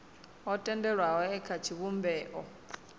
o tendelwaho e kha tshivhumbeo